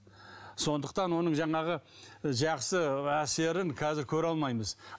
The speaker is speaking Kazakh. сондықтан оның жаңағы жақсы әсерін қазір көре алмаймыз